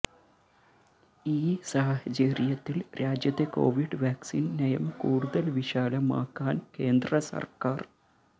ഈ സാഹചര്യത്തിൽ രാജ്യത്തെ കോവിഡ് വാക്സീൻ നയം കൂടുതൽ വിശാലമാക്കാൻ കേന്ദ്രസർക്കാർ